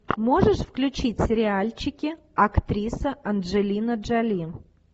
можешь включить сериальчики актриса анджелина джоли